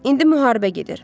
İndi müharibə gedir.